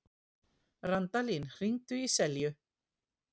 Randalín, hringdu í Selju.